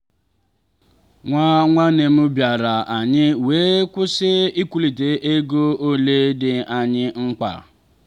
nwa nwanne m bịara anyị wee kwụsị ikwurịta ego ole dị anyị mkpa.